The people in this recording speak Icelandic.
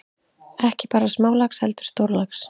Ekki bara smálax heldur stórlax.